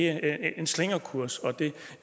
er en slingrekurs det